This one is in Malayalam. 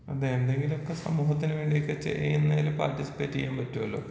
അതെ എന്തെങ്കിലൊക്കെ സമൂഹത്തിന് ചെയ്യുന്നതിന് പാർട്ടിസിപ്പേറ്റ് ചെയ്യാൻ പറ്റൊലൊ.